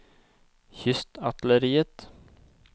kystartilleriet